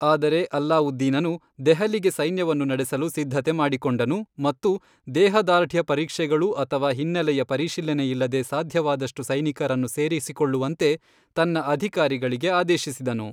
ಆದರೆ ಅಲ್ಲಾವುದ್ದೀನನು ದೆಹಲಿಗೆ ಸೈನ್ಯವನ್ನು ನಡೆಸಲು ಸಿದ್ಧತೆ ಮಾಡಿಕೊಂಡನು ಮತ್ತು ದೇಹದಾರ್ಢ್ಯ ಪರೀಕ್ಷೆಗಳು ಅಥವಾ ಹಿನ್ನೆಲೆಯ ಪರಿಶೀಲನೆಯಿಲ್ಲದೇ ಸಾಧ್ಯವಾದಷ್ಟು ಸೈನಿಕರನ್ನು ಸೇರಿಸಿಕೊಳ್ಳುವಂತೆ ತನ್ನ ಅಧಿಕಾರಿಗಳಿಗೆ ಆದೇಶಿಸಿದನು.